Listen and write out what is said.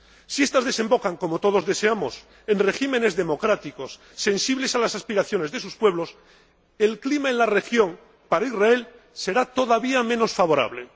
Si estas desembocan, como todos deseamos, en regímenes democráticos, sensibles a las aspiraciones de sus pueblos, el clima en la región para Israel será todavía menos favorable.